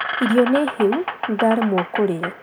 Irio nĩ hĩu, nĩ ndaremwo kũrĩa